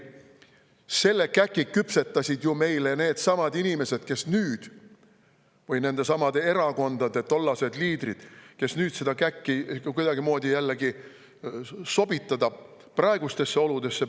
Selle käki küpsetasid meile ju needsamad inimesed või nendesamade erakondade tollased liidrid, kes nüüd püüavad seda käkki kuidagimoodi jällegi sobitada praegustesse oludesse.